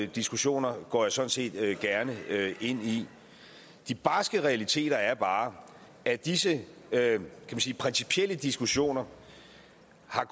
diskussioner går jeg sådan set gerne ind i de barske realiteter er bare at disse principielle diskussioner